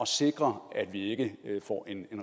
sikre at vi ikke får